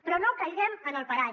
però no caiguem en el parany